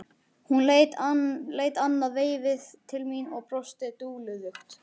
Hún leit annað veifið til mín og brosti dulúðugt.